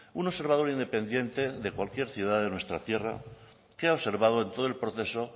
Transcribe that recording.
un observador independiente de cualquier ciudad de nuestra tierra qué ha observado en todo el proceso